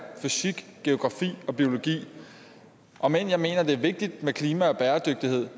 fysik geografi og biologi om end jeg mener at det er vigtigt med klima og bæredygtighed